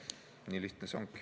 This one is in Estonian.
Nii lihtne see ongi.